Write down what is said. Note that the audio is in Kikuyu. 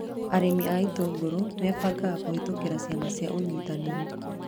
Arĩmi a itũngũrũ mebangaga kũhĩtũkĩra ciama cia ũnyitanĩri